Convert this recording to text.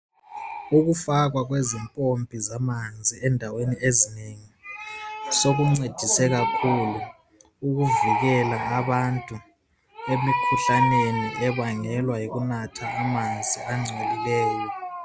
Ukufakwa kwezimpompi amanzi endaweni ezinengi, sokuncedise kakhulu ukuvikela abantu emikhuhlaneni ebangelwa yikunatha amanzi angcolileyo.